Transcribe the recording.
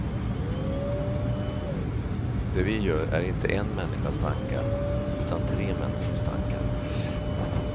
Det vi gör är inte en människas tankar utan tre människors tankar.